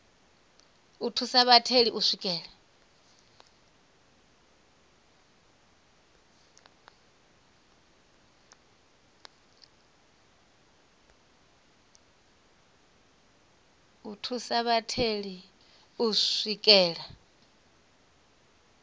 u thusa vhatheli u swikelela